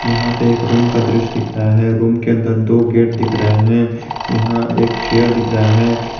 यहां पे एक रूम का दृश्य दिख रहा है रूम के अंदर दो गेट दिख रहे हैं यहां एक चेयर दिख रहा है।